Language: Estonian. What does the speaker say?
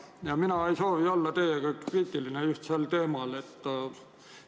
Ja mina ei soovi teid sel teemal kritiseerida.